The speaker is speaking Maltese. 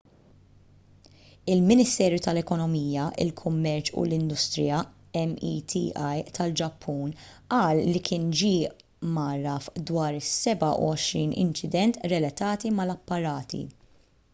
il-ministeru tal-ekonomija il-kummerċ u l-industrija meti tal-ġappun qal li kien ġie mgħarraf dwar is-27 inċident relatati mal-apparati